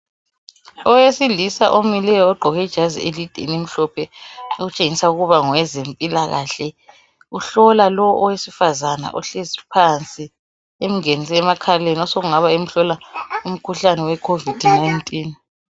Owesilisa omileyo ogqoke ijazi elide elimhlophe, okutshengisa ukuba ngowezempilakahle, uhlola lowo owesifazana ohlezi phansi, emngenise emakhaleni, osekungaba yikumhlola umkhuhlane we COVID 19.